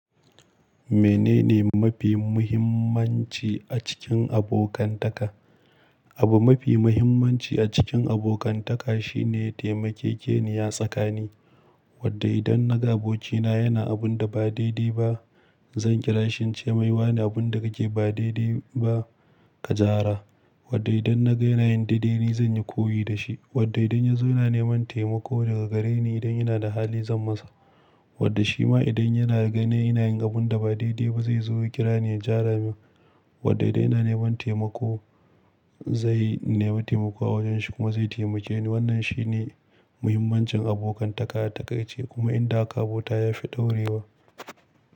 Menene mafi muhimmanci a cikin abokantaka? Abu mafi muhimmanci a cikin abokantaka shine taimakeke ni ya tsakani. Wadda idan na ga abokina yana abunda ba daidai ba, zan kira shi in ce mai, "wani, abunda kake ba daidai ba, ka gyara." Wadda idan na ga yana yin daidai, zan yi koyi da shi. Wadda idan ya zo yana neman taimako daga gareni idan ina da hali, zan masa. Wadda shi ma idan yana ganin ina yin abunda ba daidai ba, zai zo ya kira ni ya jara min. Wadda idan yana neman taimako, zai nemi taimako a wajen shi kuma zai taimake ni. Wannan shine muhimmancin abokantaka. Takai ce kuma inda aka abota ya fi ɗorewa.